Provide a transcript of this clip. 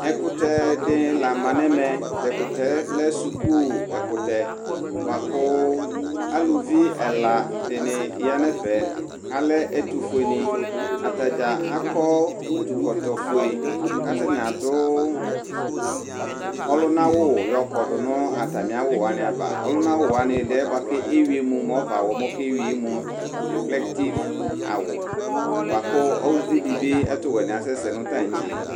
Ɛkutɛ dini la ma nɛmɛ Tɛkutɛ lɛ suku ɛkutɛ buakʋ aluvi ɛla dini ya nɛfɛAlɛ ɛtufueni Ataɖza akɔ utukɔtɔ fueKʋ atani adʋ ɔlunawu yɔkɔdu natami'awu wani ava Ɔluna'awu wani ɛdiɛ buakʋ ewiemu, mu ɔvawɔ mokewiemu, reflektif awu buakʋ uvi dibi ɛtuwɛ ni asɛsɛ nʋ taŋtse